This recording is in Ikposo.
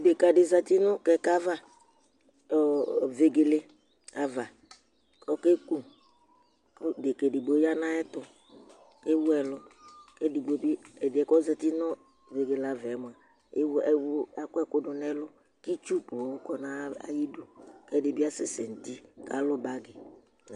dɛka dini zɛti nʋ kɛkɛ aɣa ɔɔ vɛgɛlɛ aɣa okɛkʋ kʋ dɛka ɛdigbo yanʋ ayɛtʋ ɛwʋ ɛlʋ kʋ ɛdigbo bi ɛdiɛkʋ ozɛti vɛgɛlɛ aɣa ɛmʋa ɛwʋ akɔ ɛkʋ dʋ nɛlʋ kʋ itsʋ ponn kɔ nʋ aɣi dʋ kʋ ɛdibi asɛ sɛ nʋ ti kalʋ bagi